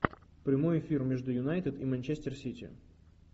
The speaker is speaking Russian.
прямой эфир между юнайтед и манчестер сити